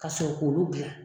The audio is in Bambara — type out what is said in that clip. Kasɔrɔ k'olu dilan